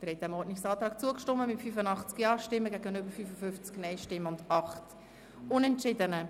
Sie haben dem Ordnungsantrag zugestimmt mit 85 Ja- gegen 55 Nein-Stimmen bei 8 Unentschiedenen.